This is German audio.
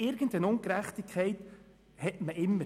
Irgendeine Ungerechtigkeit besteht also immer.